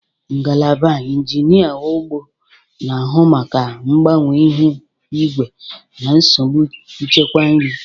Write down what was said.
Ngalaba Injinia ugbo na-ahụ maka mgbanwe ihu igwe na nsogbu nchekwa nri.